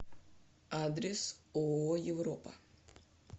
адрес ооо европа